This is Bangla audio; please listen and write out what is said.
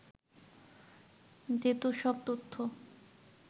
যেত সব তথ্য